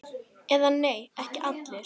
Eða nei, ekki allir!